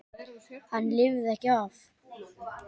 Hann lifði ekki af.